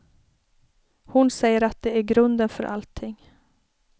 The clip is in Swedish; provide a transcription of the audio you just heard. Hon säger att det är grunden för allting.